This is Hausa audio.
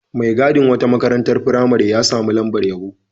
Mai gadin wata makarantar firamare ya sami lamabr yabo.